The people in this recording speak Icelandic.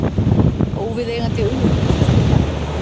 Óviðeigandi auglýsingaskilti fjarlægt